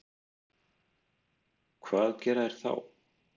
Hvað gera þeir þá?